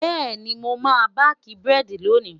bẹẹni, moma baki burẹdi lóni